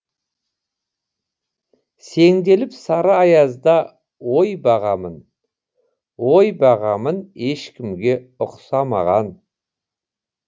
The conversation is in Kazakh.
сеңделіп сары аязда ой бағамын ой бағамын ешкімге ұқсамаған